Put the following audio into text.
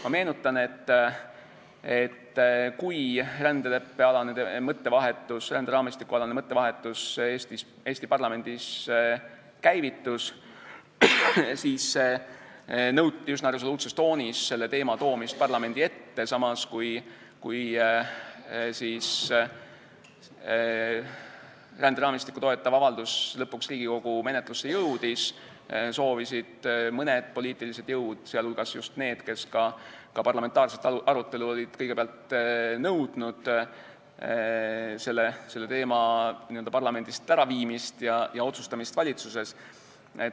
Ma meenutan, et kui rändeleppealane või ränderaamistikualane mõttevahetus Eesti parlamendis käivitus, siis nõuti üsna resoluutses toonis selle teema toomist parlamendi ette, samas, kui ränderaamistikku toetav avaldus lõpuks Riigikogu menetlusse jõudis, siis soovisid mõned poliitilised jõud, teiste hulgas just need, kes olid kõigepealt parlamentaarset arutelu nõudnud, selle teema n-ö parlamendist äraviimist ja asja otsustamist valitsuses.